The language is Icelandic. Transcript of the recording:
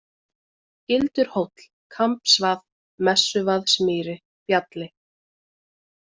Gildurhóll, Kambsvað, Messuvaðsmýri, Bjalli